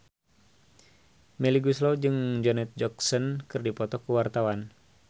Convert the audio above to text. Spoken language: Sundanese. Melly Goeslaw jeung Janet Jackson keur dipoto ku wartawan